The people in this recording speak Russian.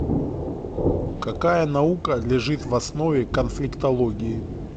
какая наука лежит в основе конфликтологии